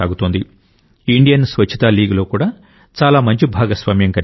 Indian Swachhata లీగ్లో కూడా చాలా మంచి భాగస్వామ్యం కనిపిస్తోంది